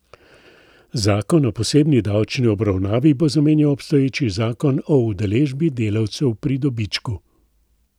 Zakon o posebni davčni obravnavi bo zamenjal obstoječi zakon o udeležbi delavcev pri dobičku.